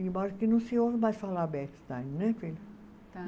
Embora que não se ouva mais falar Bechstein, não é, filha?